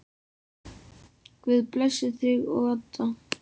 Guð blessi þig og Adda.